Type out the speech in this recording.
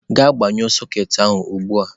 Gaa gbanyụọ soketị ahụ ugbu a